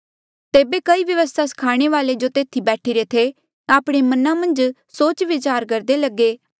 तेबे कई व्यवस्था स्खाणे वाल्ऐ जो तेथी बैठीरे थे आपणे मना मन्झ सोच विचार करदे लगे